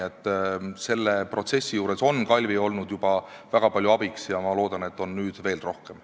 Selle protsessi juures on Kalvi olnud juba väga palju abiks ja ma loodan, et on nüüd veel rohkem.